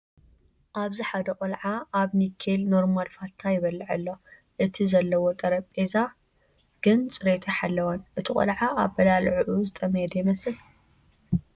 ኣብዚ ሓደ ቆልዓ ኣብ ኒኬል ኖርማል ፋታ ይበልዕ ኣሎ፡፡ እቲ ዘለዎ ጠረጴዛ ግን ፅሬቱ ኣይሓለወን፡፡ እቲ ቆልዓ ኣባላልዕኡ ዝጠመየ ዶ ይመስል?